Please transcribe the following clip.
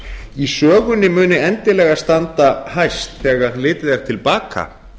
í sögunni muni endilega standa hæst þegar litið er til baka